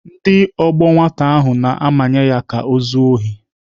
Ndị ọgbọ nwata ahụ na-amanye ya ka o zuo ohi.